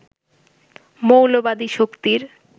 মৌলবাদী শক্তির